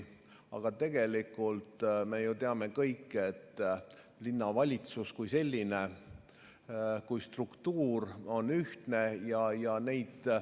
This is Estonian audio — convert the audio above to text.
Aga tegelikult me ju teame kõik, et linnavalitsus kui struktuur on ühtne.